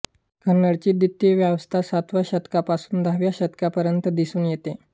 कन्नडची द्वितीयावस्था सातव्या शतकापासून दहाव्या शतकापर्यंत दिसून येते